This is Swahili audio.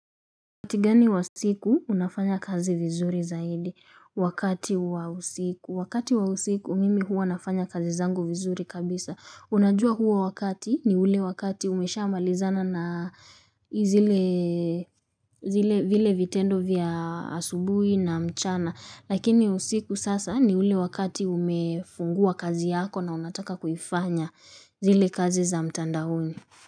Wakati gani wa siku unafanya kazi vizuri zaidi wakati wa usiku wakati wa usiku mimi huwa nafanya kazi zangu vizuri kabisa unajua huo wakati ni ule wakati umeshamalizana na zile zile vile vitendo vya asubuhi na mchana lakini usiku sasa ni ule wakati umefungua kazi yako na unataka kuifanya zile kazi za mtandaoni.